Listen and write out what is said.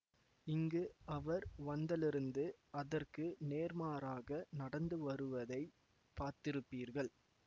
இங்கு அவர் வந்தலிருந்து அதற்கு நேர்மாறாக நடந்து வருவதை பார்த்திருப்பீர்கள்